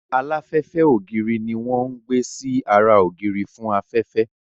Aláfẹ́fẹ́ ògiri ní wọ́n ń gbé sí ara ògiri fún afẹ́fẹ́